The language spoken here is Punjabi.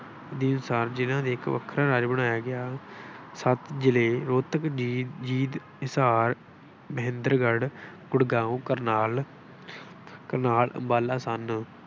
ਦੀ ਸਿਰਜਣਾ ਨੇ ਇੱਕ ਵੱਖਰਾ ਰਾਜ ਬਣਾਇਆ ਗਿਆ। ਸੱਤ ਜਿਲ੍ਹੇ ਰੋਹਤਕ, ਜੀਂਦ, ਹਿਸਾਰ, ਮਹਿੰਦਗਗੜ੍ਹ, ਗੁੜਗਾਉਂ, ਕਰਨਾਲ, ਕਰਨਾਲ, ਅੰਬਾਲਾ ਸਨ।